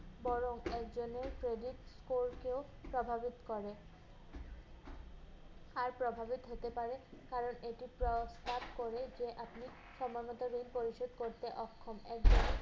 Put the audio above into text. বরং একজনের credit core কেও প্রভাবিত করে। আর প্রভাবিত হতে পারে কারণ এটি প্রমান করে যে আপনি সময়মত ঋণ পরিশোধ করতে অক্ষম। এই যে